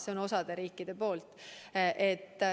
Selline on osa riikide suhtumine.